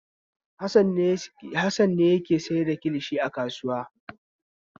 Hassan ne yake sayar da kilishi a kasuwa.